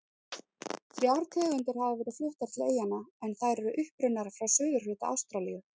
Þrjár tegundir hafa verið fluttar til eyjanna en þær eru upprunnar frá suðurhluta Ástralíu.